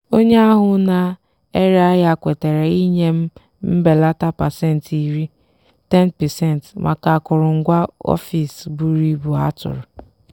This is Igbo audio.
onye ahụ na-ere ahịa kwetara inye m mbelata pasentị iri (10%) maka akụrụngwa ọfịs buru ibu a tụrụ.